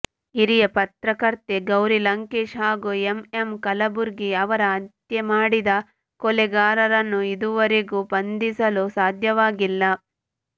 ಹಿರಿಯ ಪತ್ರಕರ್ತೆ ಗೌರಿ ಲಂಕೇಶ್ ಹಾಗೂ ಎಂಎಂ ಕಲಬುರ್ಗಿ ಅವರ ಹತ್ಯೆಮಾಡಿದ ಕೊಲೆಗಾರರನ್ನು ಇದುವರೆಗೂ ಬಂಧಿಸಲು ಸಾಧ್ಯವಾಗಿಲ್ಲ